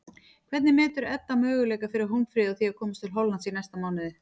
Hvernig metur Edda möguleika fyrir Hólmfríði á að komast til Hollands í næsta mánuði?